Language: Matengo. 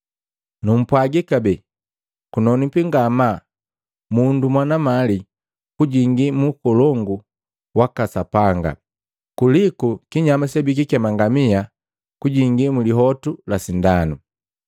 Numpwagi kabee, kunonwipi ngamaa mundu mwana mali kujingi mu ukolongu waka Sapanga, kuliku kinyama sebikikema ngamia kujingi mulihotu la sindanu.”